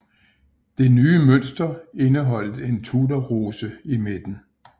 Den nye mønster indeholdt en Tudorrose i midten